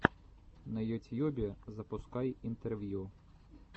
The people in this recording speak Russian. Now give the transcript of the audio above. на ютьюбе запускай интервью